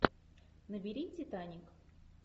набери титаник